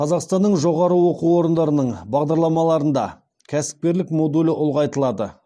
қазақстанның жоғары оқу орындарының бағдарламаларында кәсіпкерлік модулі ұлғайтылады